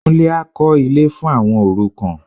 Kúnlé á kọ́ ilé fún àwọn òrukàn